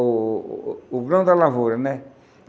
o o o grão da lavoura, né?